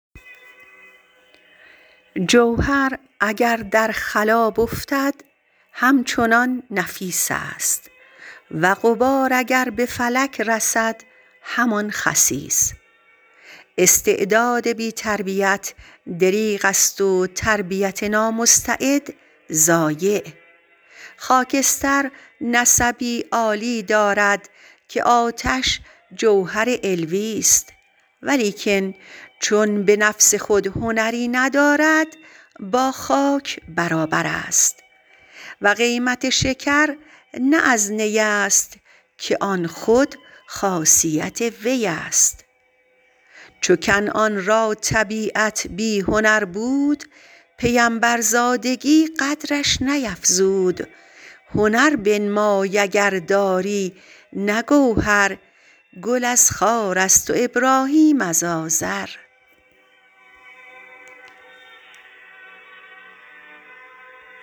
جوهر اگر در خلاب افتد همچنان نفیس است و غبار اگر به فلک رسد همان خسیس استعداد بی تربیت دریغ است و تربیت نامستعد ضایع خاکستر نسبی عالی دارد که آتش جوهر علویست ولیکن چون به نفس خود هنری ندارد با خاک برابر است و قیمت شکر نه از نی است که آن خود خاصیت وی است چو کنعان را طبیعت بی هنر بود پیمبرزادگی قدرش نیفزود هنر بنمای اگر داری نه گوهر گل از خار است و ابراهیم از آزر